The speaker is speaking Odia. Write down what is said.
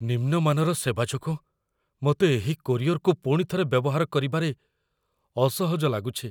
ନିମ୍ନ ମାନର ସେବା ଯୋଗୁଁ ମୋତେ ଏହି କୋରିଅର୍‌କୁ ପୁଣିଥରେ ବ୍ୟବହାର କରିବାରେ ଅସହଜ ଲାଗୁଛି।